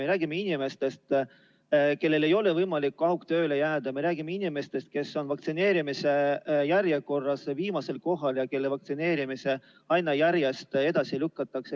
Me räägime inimestest, kellel ei ole võimalik kaugtööle jääda, me räägime inimestest, kes on vaktsineerimise järjekorras viimasel kohal ja kelle vaktsineerimist aina edasi lükatakse.